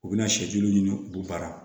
U bɛna sɛju ɲini u banna